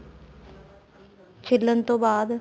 ਛਿਲਣ ਤੋਂ ਬਾਅਦ